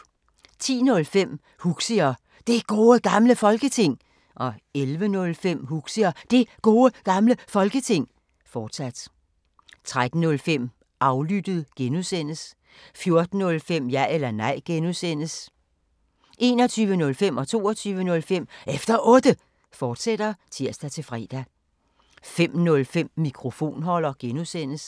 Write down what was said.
10:05: Huxi og Det Gode Gamle Folketing 11:05: Huxi og Det Gode Gamle Folketing, fortsat 13:05: Aflyttet G) 14:05: Ja eller nej (G) 21:05: Efter Otte, fortsat (tir-fre) 22:05: Efter Otte, fortsat (tir-fre) 05:05: Mikrofonholder (G)